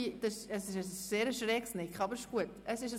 Naja, das ist ein ziemlich schräges Nicken, aber es ist ein Nicken.